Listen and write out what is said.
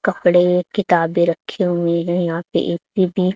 कपड़े किताबें रखे हुए हैं यहां पे एक --